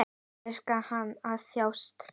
Elskar hann að þjást?